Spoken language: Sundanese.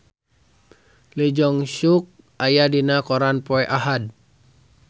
Lee Jeong Suk aya dina koran poe Ahad